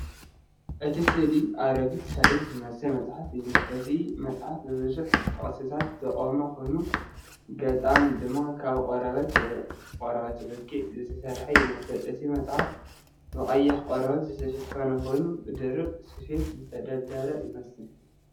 እቲ ስእሊ ኣረጊት ታሪኻዊ ዝመስል መጽሓፍ እዩ ዘርኢ። እቲ መጽሓፍ ብብዙሕ ጥቕስታት ዝቖመ ኮይኑ ገጻት ድማ ካብ ቆርበት ወይ ቆርበት በጊዕ ዝተሰርሑ ይመስሉ። እቲ መጽሓፍ ብቐይሕ ቆርበት ዝተሸፈነ ኮይኑ፡ ብድርብ ስፌት ዝተደልደለ ይመስል።